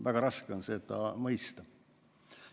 Väga raske on seda mõista.